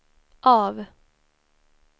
av